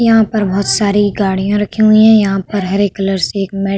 यहां पर बोहोत सारी गाड़ियां रखी हुई हैं। यहां पर हरे कलर से एक मैट --